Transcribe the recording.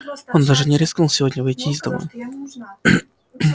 он даже не рискнул сегодня выйти из дома